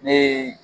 Ni